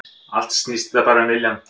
Allt snýst þetta bara um viljann